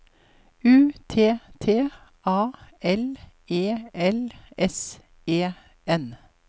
U T T A L E L S E N